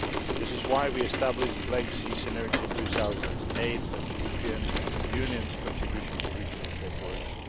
This is why we established the Black Sea Synergy in 2008 as the European Union's contribution to regional cooperation.